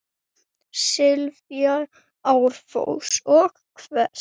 sifji árfoss og hvers!